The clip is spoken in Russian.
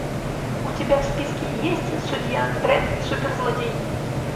у тебя в списке есть судья дредд суперзлодей